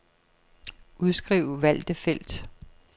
Udskriv valgte felt.